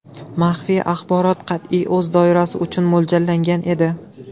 Maxfiy axborot qat’iy o‘z doirasi uchun mo‘ljallangan edi.